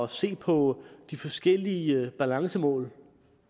se på de forskellige balancemål